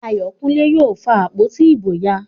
Ayokunle yóò fa àpótí ìbò ya